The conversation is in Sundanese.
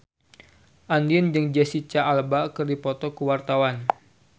Andien jeung Jesicca Alba keur dipoto ku wartawan